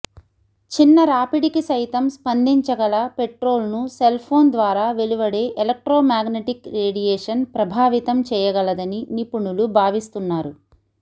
చిన్న రాపిడికి సైతం స్పందించగల పెట్రోల్ను సెల్ఫోన్ ద్వారా వెలువడే ఎలక్ట్రోమాగ్నటిక్ రేడియేషన్ ప్రభావితం చేయగలదని నిపుణులు భావిస్తున్నారు